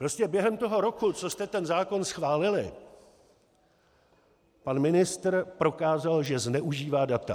Prostě během toho roku, co jste ten zákon schválili, pan ministr prokázal, že zneužívá data.